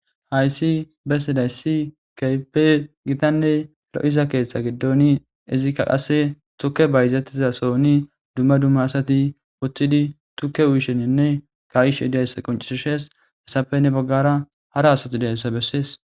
Hayssi bessedayssi keype gitanne lo7iza keeththe giddoni izikka qase tukke bayzattiza sooni dumma duma asati uththidi tukke uyisheninne kayishe diayssa qoncisishees hesafenne baggara hara asati deyssa bessees.